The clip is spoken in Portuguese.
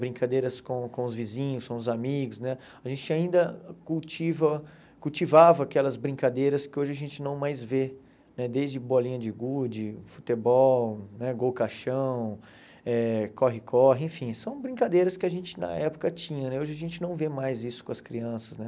brincadeiras com com os vizinhos, com os amigos né, a gente ainda cultiva cultivava aquelas brincadeiras que hoje a gente não mais vê, né desde bolinha de gude, futebol né, gol caixão, eh corre-corre, enfim, são brincadeiras que a gente na época tinha né, hoje a gente não vê mais isso com as crianças né.